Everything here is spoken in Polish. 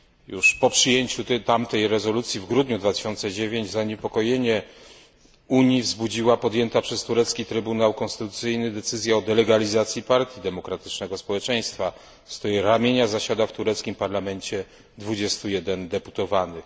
Już po przyjęciu wspomnianej rezolucji w grudniu 2009 roku zaniepokojenie Unii wzbudziła podjęta przez turecki Trybunał Konstytucyjny decyzja o delegalizacji Partii Demokratycznego Społeczeństwa, z której ramienia zasiadało w tureckim parlamencie 21 deputowanych.